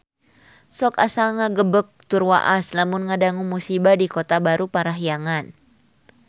Sok asa ngagebeg tur waas lamun ngadangu musibah di Kota Baru Parahyangan